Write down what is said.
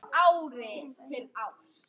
Ég flakka sífellt á milli.